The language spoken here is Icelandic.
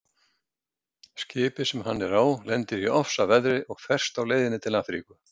Skipið sem hann er á lendir í ofsaveðri og ferst á leiðinni til Afríku.